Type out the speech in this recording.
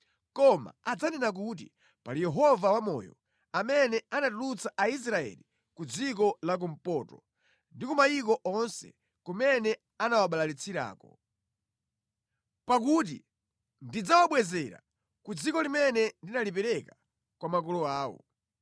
koma adzanena kuti, ‘Pali Yehova wamoyo, amene anatulutsa Aisraeli ku dziko lakumpoto, ndi ku mayiko onse kumene anawabalalitsirako.’ Pakuti ndidzawabwezera ku dziko limene ndinalipereka kwa makolo awo.”